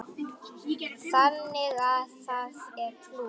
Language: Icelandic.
Þannig að það er plús.